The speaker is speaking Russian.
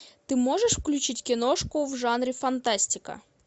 ты можешь включить киношку в жанре фантастика